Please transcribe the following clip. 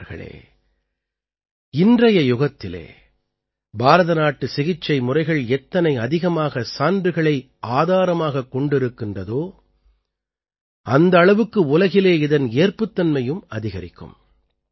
நண்பர்களே இன்றைய யுகத்திலே பாரதநாட்டு சிகிச்சை முறைகள் எத்தனை அதிகமாக சான்றுகளை ஆதாரமாகக் கொண்டிருக்கிறதோ அந்த அளவுக்கு உலகிலே இதன் ஏற்புத்தன்மையும் அதிகரிக்கும்